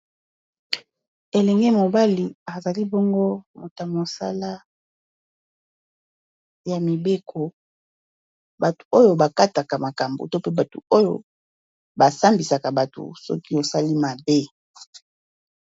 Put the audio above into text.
elenge mobali azali bongo moto mosala ya mibeko bato oyo bakataka makambo to pe bato oyo basambisaka bato soki osali mabe